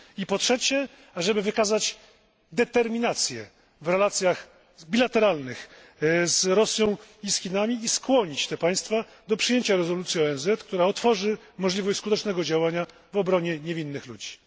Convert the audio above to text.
Po trzecie, żeby wykazać determinację w relacjach bilateralnych z Rosją i z Chinami oraz skłonić te państwa do przyjęcia rezolucji ONZ, która otworzy możliwość skutecznego działania w obronie niewinnych ludzi.